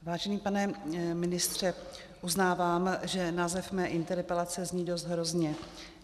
Vážený pane ministře, uznávám, že název mé interpelace zní dost hrozně.